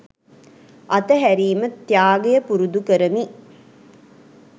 අත්හැරීම ත්‍යාගය පුරුදු කරමි.